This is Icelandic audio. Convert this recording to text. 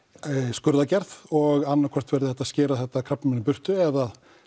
skurðaðgerð og annað hvort væri hægt að skera þetta krabbamein í burtu eða